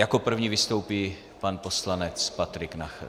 Jako první vystoupí pan poslanec Patrik Nachr.